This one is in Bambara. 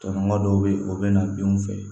Tɔɲɔgɔn dɔw bɛ yen o bɛ na denw fɛ